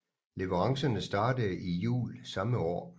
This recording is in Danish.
Leverancerne startede i Jul samme år